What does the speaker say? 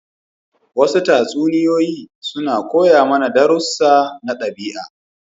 Wasu tatsuniya suna koya mana darussu na daɓi'a.